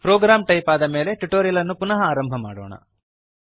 program type ಆದ ಮೇಲೆ tutorial ಅನ್ನು ಪುನಃ ಆರಂಭ ಮಾಡೋಣ